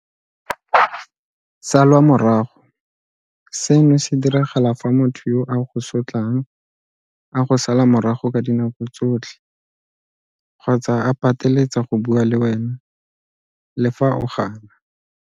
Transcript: Salwa morago. Seno se diragala fa motho yo a go sotlang a go sala morago ka dinako tsotlhe kgotsa a pateletsa go bua le wena le fa o gana.